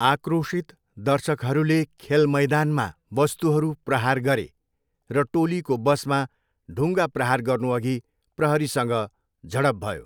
आक्रोशित दर्शकहरूले खेल मैदानमा वस्तुहरू प्रहार गरे र टोलीको बसमा ढुङ्गा प्रहार गर्नुअघि प्रहरीसँग झडप भयो।